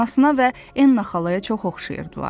Anasına və Enna xalaya çox oxşayırdılar.